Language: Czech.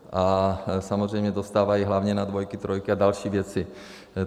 A samozřejmě dostávají hlavně na dvojky, trojky a další věci.